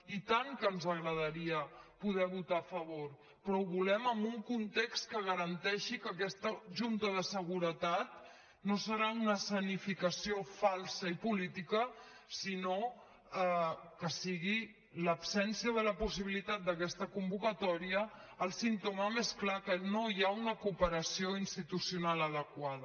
i tant que ens agradaria poder votar hi a favor però ho volem en un context que garanteixi que aquesta junta de seguretat no serà una escenificació falsa i política sinó que sigui l’absència de la possibilitat d’aquesta convocatòria el símptoma més clar que no hi ha una cooperació institucional adequada